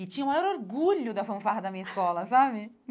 E tinha o maior orgulho da fanfarra da minha escola, sabe?